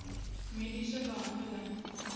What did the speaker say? mediese behandeling